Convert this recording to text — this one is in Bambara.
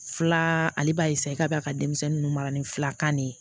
Fila ale b'a i ka bi a ka denmisɛnnin ninnu mara ni filakan de ye